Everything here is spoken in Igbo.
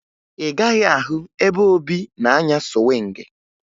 Ị gaghị ahụ ebe Obi na-anya sụwịngị